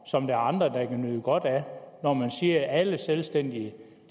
som der er andre der kan nyde godt af når man siger at alle selvstændige